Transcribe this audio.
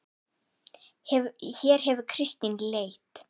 Hér hefur Kristín leit.